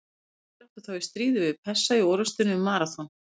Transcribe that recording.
Grikkir áttu þá í stríði við Persa í orrustunni um Maraþon.